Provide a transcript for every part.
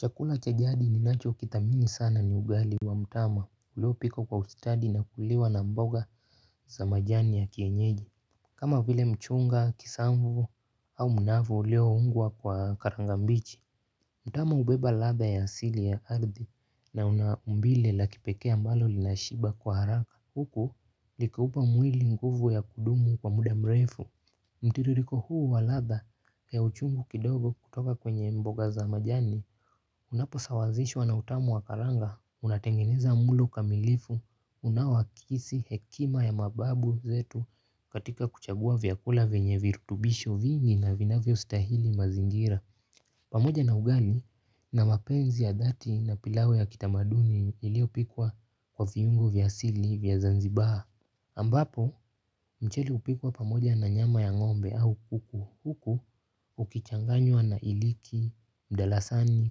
Chakula chajadi ni nacho kithamini sana ni ugali wa mtama ulio pikwa kwa ustadi na kuliwa na mboga za majani ya kienyeji. Kama vile mchunga, kisambu au mnavu ulio ungwa kwa karangambichi. Mtama ubeba latha ya asili ya ardhi na unaumbile la kipekee ambalo linashiba kwa haraka huku likiupa mwili nguvu ya kudumu kwa muda mrefu. Mtiririko huu wa ladha ya uchungu kidogo kutoka kwenye mboga za majani unapo sawazishwa na utamu wakaranga, unatengeneza mlo kamilifu, unawakisi hekima ya mababu zetu katika kuchagua vyakula venye virutubisho vingi na vinavyo stahili mazingira. Pamoja na ugali na mapenzi ya dhati na pilau ya kitamaduni iliyopikwa kwa viungo vyasili vya zanzibar ambapo mchele hupikwa pamoja na nyama ya ngombe au kuku huku ukichanganywa na iliki, mdalasani,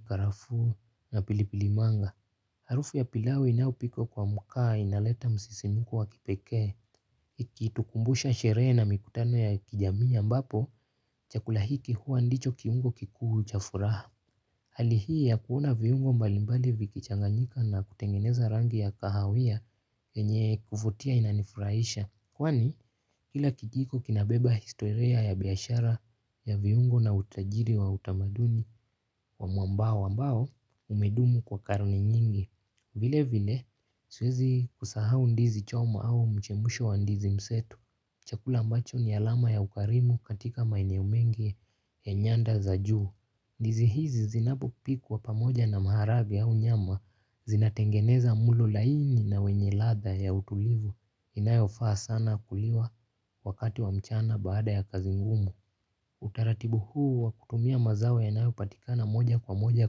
karafuu na pilipilimanga. Harufu ya pilau inayopikwa kwa mkaa inaleta msisimuko wa kipekee ikitukumbusha sherehe na mikutano ya kijamii a mbapo chakula hiki huwa ndicho kiungo kikuu chafuraha. Hali hii ya kuona viungo mbalimbali vikichanganyika na kutengeneza rangi ya kahawia yenye kuvutia inanifurahisha. Kwani kila kijiko kinabeba historia ya biashara ya viungo na utajiri wa utamaduni wa mwambao ambao umedumu kwa karne nyingi. Vile vile siwezi kusahau ndizi choma au mchemusho wa ndizi msetu. Chakula ambacho ni alama ya ukarimu katika maeneo mengi ya nyanda za juu. Ndizi hizi zinapopikwa pamoja na maharage au nyama zinatengeneza mlo laini na wenye latha ya utulivu inayofaa sana kuliwa wakati wa mchana baada ya kazi ngumu. Utaratibu huu wa kutumia mazao yanayo patikana moja kwa moja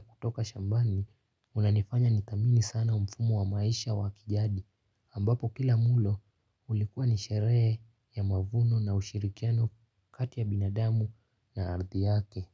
kutoka shambani. Unanifanya nithamini sana mfumuo wa maisha wa kijadi ambapo kila mulo ulikuwa nisherehe ya mavuno na ushirikiano kati ya binadamu na ardhi yake.